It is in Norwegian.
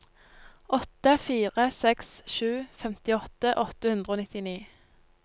åtte fire seks sju femtiåtte åtte hundre og nittini